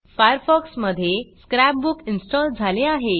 Firefox मधे scrapbook install झाले आहे